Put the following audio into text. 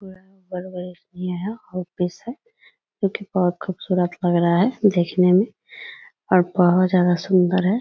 यह बड़े-बड़े ऑफिस है जो की बहोत खूबसूरत लग रहा है देखने में और बहोत ज्यादा सुंदर है।